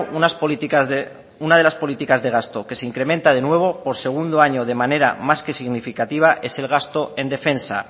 una de las políticas de gasto que se incrementa de nuevo por segundo año de manera más que significativa es el gasto en defensa